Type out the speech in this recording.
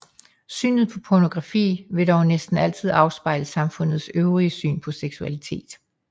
Synet på pornografi vil dog næsten altid afspejle samfundets øvrige syn på seksualitet